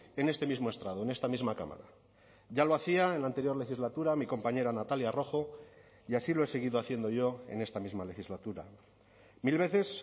en este mismo estrado en esta misma cámara ya lo hacía en la anterior legislatura mi compañera natalia rojo y así lo he seguido haciendo yo en esta misma legislatura mil veces